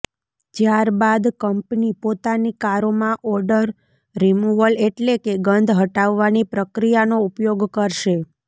જ્યાર બાદ કંપની પોતાની કારોમાં ઓડર રિમુવલ એટલે કે ગંધ હટાવાની પ્રક્રિયાનો ઉપયોગ કરશે